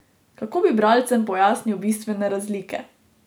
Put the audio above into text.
Kako bi bralcem pojasnil bistvene razlike?